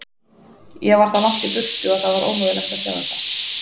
Ég var það langt í burtu að það var ómögulegt að sjá þetta.